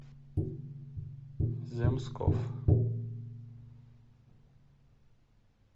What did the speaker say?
земсков